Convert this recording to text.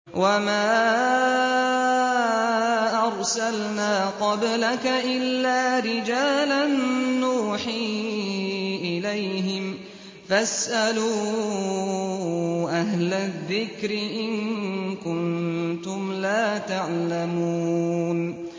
وَمَا أَرْسَلْنَا قَبْلَكَ إِلَّا رِجَالًا نُّوحِي إِلَيْهِمْ ۖ فَاسْأَلُوا أَهْلَ الذِّكْرِ إِن كُنتُمْ لَا تَعْلَمُونَ